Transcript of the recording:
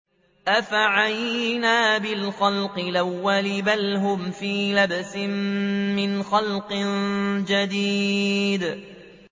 أَفَعَيِينَا بِالْخَلْقِ الْأَوَّلِ ۚ بَلْ هُمْ فِي لَبْسٍ مِّنْ خَلْقٍ جَدِيدٍ